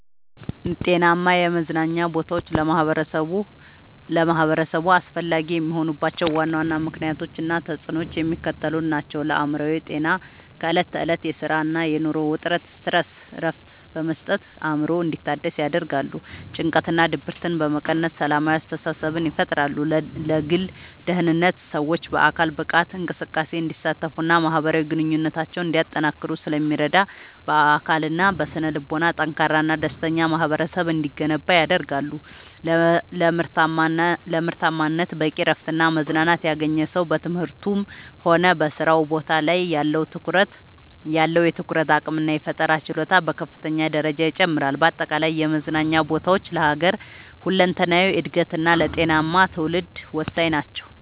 ጤናማ የመዝናኛ ቦታዎች ለማኅበረሰቡ አስፈላጊ የሆኑባቸው ዋና ዋና ምክንያቶች እና ተፅዕኖዎቻቸው የሚከተሉት ናቸው፦ ለአእምሮ ጤና፦ ከዕለት ተዕለት የሥራና የኑሮ ውጥረት (Stress) እረፍት በመስጠት አእምሮ እንዲታደስ ያደርጋሉ። ጭንቀትንና ድብርትን በመቀነስ ሰላማዊ አስተሳሰብን ይፈጥራሉ። ለግል ደህንነት፦ ሰዎች በአካል ብቃት እንቅስቃሴ እንዲሳተፉና ማኅበራዊ ግንኙነታቸውን እንዲያጠናክሩ ስለሚረዱ፣ በአካልና በስነ-ልቦና ጠንካራና ደስተኛ ማኅበረሰብ እንዲገነባ ያደርጋሉ። ለምርታማነት፦ በቂ እረፍትና መዝናናት ያገኘ ሰው በትምህርቱም ሆነ በሥራ ቦታው ላይ ያለው የትኩረት አቅምና የፈጠራ ችሎታ በከፍተኛ ደረጃ ይጨምራል። በአጠቃላይ የመዝናኛ ቦታዎች ለሀገር ሁለንተናዊ እድገትና ለጤናማ ትውልድ ወሳኝ ናቸው።